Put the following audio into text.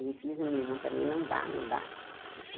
E fiz a minha irmã também, não dar, não dar.